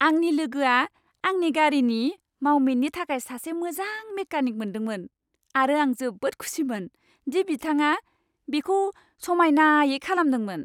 आंनि लोगोआ आंनि गारिनि मावमिननि थाखाय सासे मोजां मेकानिक मोनदोंमोन आरो आं जोबोद खुसिमोन दि बिथाङा बेखौ समायनायै खालामदोंमोन।